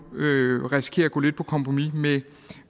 risikerer at gå lidt på kompromis med